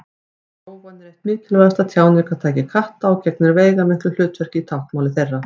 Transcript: Rófan er eitt mikilvægasta tjáningartæki katta og gegnir veigamiklu hlutverki í táknmáli þeirra.